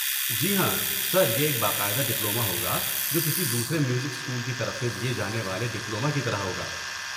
جی ہاں، سر، یہ ایک باقاعدہ ڈپلومہ ہوگا جو کسی دوسرے میوزک اسکول کی طرف سے دیے جانے والے ڈپلومہ کی طرح ہوگا۔